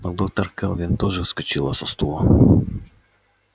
но доктор кэлвин тоже вскочила со стула